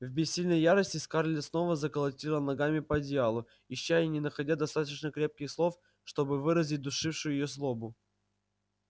в бессильной ярости скарлетт снова заколотила ногами по одеялу ища и не находя достаточно крепких слов чтобы выразить душившую её злобу